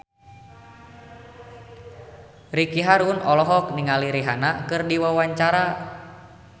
Ricky Harun olohok ningali Rihanna keur diwawancara